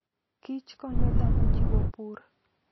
kich konyo dhano jiwo pur.